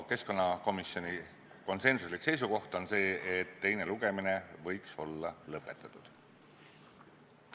Keskkonnakomisjoni konsensuslik seisukoht on see, et teine lugemine võiks olla lõpetatud.